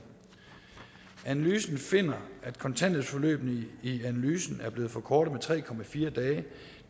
analysen finder at kontanthjælpsforløbene i analysen er blevet forkortet med tre dage